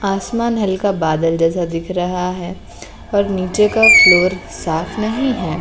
आसमान हल्का बादल जैसा दिख रहा है और नीचे का फ्लोर साफ नहीं है।